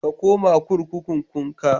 Ka koma kurkukunkun ka.